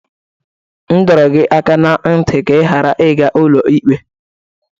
M dọrọ gị aka na ntị ka ị ghara ịga ụlọikpe!